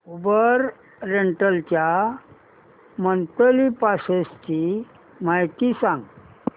Uber rental च्या monthly passes ची माहिती सांग